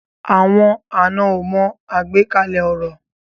Àwọn àná o mọ agbekalẹ ọrọ.